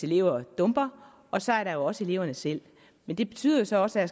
elever dumper og så er der også eleverne selv men det betyder jo så også at